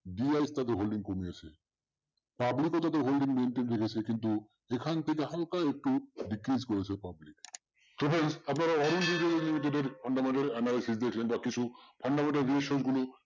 DIIS তাদের holding কমিয়েছে public ওটাতে holding maintain রেখেছো কিন্তু যেখান থেকে হালকা একটু decrease করেছে public